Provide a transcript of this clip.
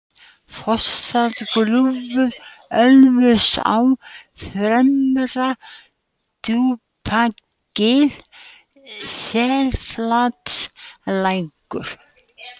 Fossárgljúfur, Ölfusá, Fremra-Djúpagil, Selflatalækur